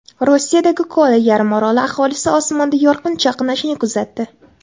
Rossiyadagi Kola yarimoroli aholisi osmonda yorqin chaqnashni kuzatdi .